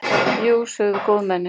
Jú, sögðu góðmennin.